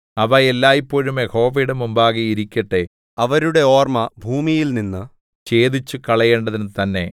അവ എല്ലായ്പോഴും യഹോവയുടെ മുമ്പാകെ ഇരിക്കട്ടെ അവരുടെ ഓർമ്മ ഭൂമിയിൽനിന്നു ഛേദിച്ചുകളയേണ്ടതിനു തന്നേ